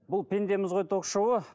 бұл пендеміз ғой ток шоуы